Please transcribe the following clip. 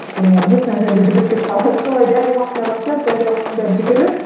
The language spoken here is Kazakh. өйткені олар бес нөл нөлде жүгіріп кетіп қалады солай дәл уақытында барсаң дәл уақытында жүгіп